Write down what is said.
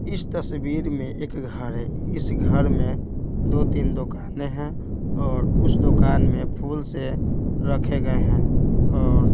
इस तस्वीर में एक घर है इस घर में दो-तीन दुकानें हैं और उस दुकान में फूल से रखे गए हैं और--